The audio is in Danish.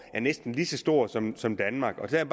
er næsten lige så stor som som danmark jeg er